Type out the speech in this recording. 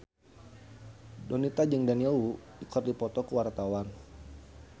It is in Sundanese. Donita jeung Daniel Wu keur dipoto ku wartawan